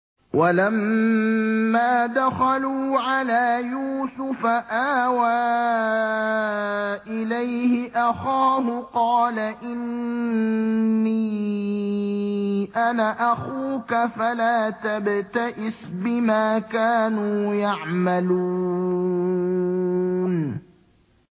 وَلَمَّا دَخَلُوا عَلَىٰ يُوسُفَ آوَىٰ إِلَيْهِ أَخَاهُ ۖ قَالَ إِنِّي أَنَا أَخُوكَ فَلَا تَبْتَئِسْ بِمَا كَانُوا يَعْمَلُونَ